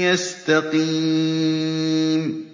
يَسْتَقِيمَ